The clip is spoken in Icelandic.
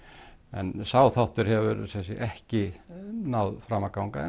en sá þáttur hefur ekki náð fram að ganga